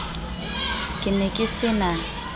ke ne ke se na